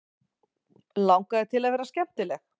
Langaði til að vera skemmtileg.